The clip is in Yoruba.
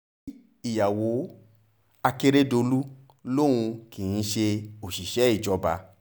kí ìyàwó akérèdọ̀lú lòun kì í ṣe òṣìṣẹ́ ìjọba